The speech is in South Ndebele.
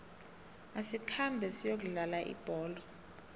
asikhambe siyokudlala ibholo